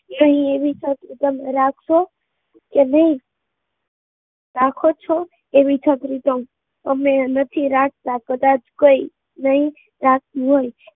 નહીં એવી છત્રી તમે રાખશો કે નહીં? તેવી છત્રી તમે રાખો છો, કદાચ કોઈ નહીં રાખે